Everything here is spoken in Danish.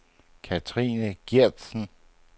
Cathrine Geertsen